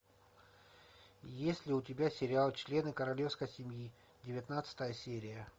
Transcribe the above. есть ли у тебя сериал члены королевской семьи девятнадцатая серия